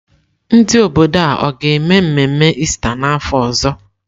Ndị obodo a ga-eme mmemme Ista n'afọ ọzọ?